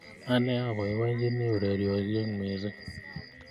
Ane apoipoichini ureryosek missing'